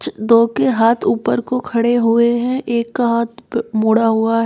दो के हाथ ऊपर को खड़े हुए हैं एक का हाथ मुडा हुआ है।